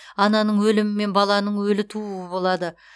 ананың өлімі мен баланың өлі тууы болады